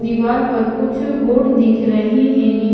दीवाल पर कुछ बोर्ड दिख रहे हैं नी--